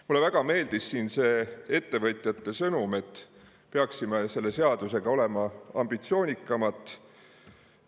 Mulle väga meeldis ettevõtjate sõnum, et me peaksime selle seadusega olema ambitsioonikamad.